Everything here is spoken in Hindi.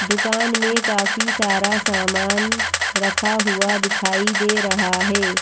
दुकान में काफी सारा सामान रखा हुआ दिखाई दे रहा है।